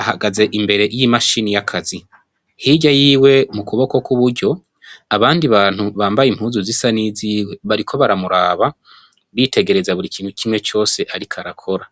ahagaze imbere yimashini yakazi hirya yiwe mukuboko kwuburyo abandi bantu bambaye impuzu zisa n'iziwe bariko baramuraba bitegereza buri kimwe cose ariko arakora.